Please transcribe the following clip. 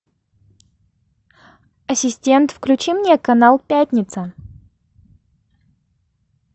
ассистент включи мне канал пятница